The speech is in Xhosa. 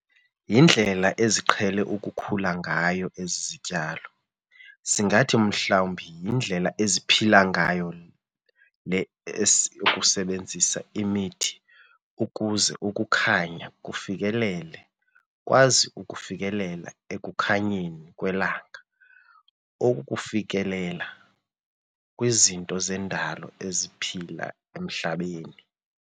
Yindlela eziqhele ukukhula ngayo ezi zityalo, singathi mhlawumbi yindlela eziphila ngayo le yokusebenzisa imithi ukuze ukukhaynya kufikelele kwazi ukufikelela ekukhanyeni kwelanga okufikelela kwizinto zendalo eziphila emhlabeni.